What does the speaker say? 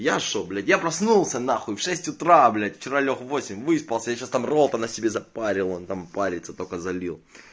я что блять я проснулся нахуй в шесть утра блять вчера лёг в восемь выспался я сейчас там ролтона себе запарил он там парится только залил